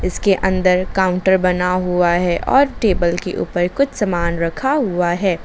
इस के अंदर काउंटर बना हुआ है और टेबल के ऊपर कुछ सामान रखा हुआ है।